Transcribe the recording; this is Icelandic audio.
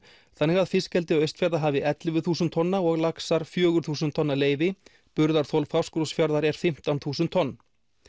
þannig að FA hafi ellefu þúsund tonna og laxar fjögur þúsund tonna leyfi burðarþol Fáskrúðsfjarðar er fimmtán þúsund tonn